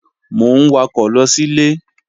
Mò ń wakọ̀ lọ sílé